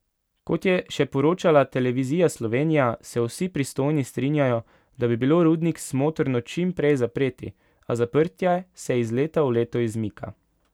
Kot je še poročala Televizija Slovenija, se vsi pristojni strinjajo, da bi bilo rudnik smotrno čim prej zapreti, a zaprtje se iz leta v leto izmika.